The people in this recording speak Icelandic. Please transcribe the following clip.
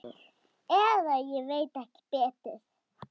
Eða ég veit ekki betur.